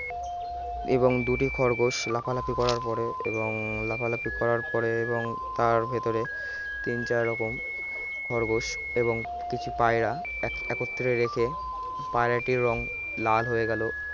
এবং দুটি খরগোশ লাফালাফি করার পরে এবং লাফালাফি করার পরে এবং তার ভেতরে তিন চার রকম খরগোশ এবং কিছু পায়রা এক~ একত্রে রেখে পায়রাটির রং লাল হয়ে গেল